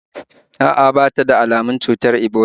A'a, ba ta da almun cutar ebola